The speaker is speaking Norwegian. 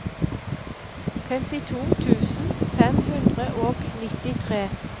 femtito tusen fem hundre og nittitre